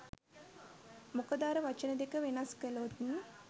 මොකද අර වචන දෙක වෙනස් කලොත්